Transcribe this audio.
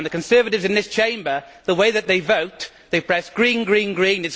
As for the Conservatives in this Chamber, the way that they vote is to press green, green, green.